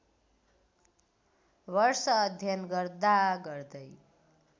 वर्ष अध्ययन गर्दागर्दै